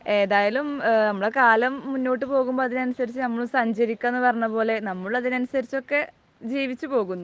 ഏതായാലും നമ്മുടെ കാലം മുന്നോട്ടുപോകുമ്പോൾ അതിനനുസരിച്ച് നമ്മളും സഞ്ചരിക്കുക എന്ന് പറഞ്ഞ പോലെ നമ്മളും അതിനനുസരിച്ച് ഒക്കെ ജീവിച്ചുപോകുന്നു.